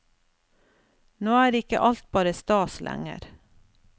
Nå er ikke alt bare stas lenger.